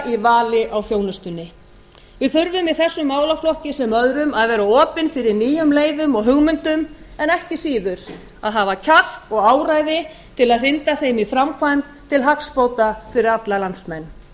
í vali á þjónustunni við þurfum í þessum málaflokki sem öðrum að vera opin fyrir nýjum leiðum og hugmyndum en ekki síður að hafa kjark og áræði til að hrinda þeim í framkvæmd til hagsbóta fyrir alla landsmenn